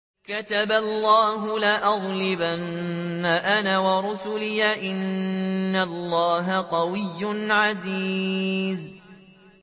كَتَبَ اللَّهُ لَأَغْلِبَنَّ أَنَا وَرُسُلِي ۚ إِنَّ اللَّهَ قَوِيٌّ عَزِيزٌ